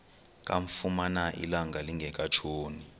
kamfumana ilanga lingekatshoni